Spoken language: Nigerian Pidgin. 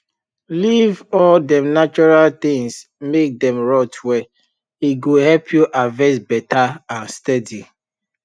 leave all dem natural things make dem rot well e go help you harvest better and steady